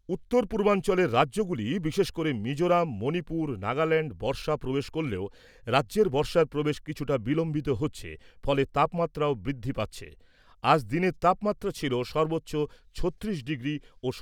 উত্তর পূর্বাঞ্চলের রাজ্যগুলি বিশেষ করে মিজোরাম , মণিপুর , নাগাল্যান্ডে বর্ষা প্রবেশ করলেও রাজ্যে বর্ষার প্রবেশ কিছুটা বিলম্বিত হচ্ছে , ফলে তাপমাত্রাও বৃদ্ধি পাচ্ছে। আজ দিনের তাপমাত্রা ছিল সর্বোচ্চ ছত্রিশ ডিগ্রি ও